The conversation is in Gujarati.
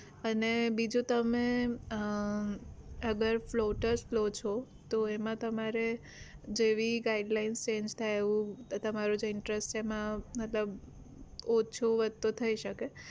અને બીજો તમે અગર flotas લો છો તો એમાં તમારે જેવી guideline change થાય એવું તમારું જે interest છે એમાં મતલબ ઓછો વધતો થઇ શકે